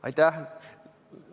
Aitäh!